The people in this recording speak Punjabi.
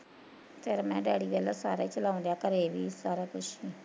ਫਿਰ ਮੈਂ ਕਿਹਾਂ ਡੈਡੀ ਵੇਖਲੋ ਸਾਰਾ ਚਲਾਉਣ ਡਿਆ ਘਰੇ ਵੀ ਸਾਰਾ ਕੁਸ਼